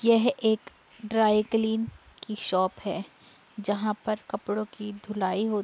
यह एक dry clean की शॉप है जहाँ पर कपड़ों की धुलाई हो --